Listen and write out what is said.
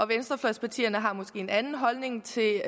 venstrefløjspartierne har måske en anden holdning til